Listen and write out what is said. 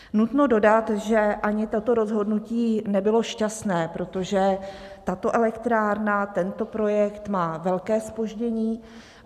Nutno dodat, že ani toto rozhodnutí nebylo šťastné, protože tato elektrárna, tento projekt má velké zpoždění.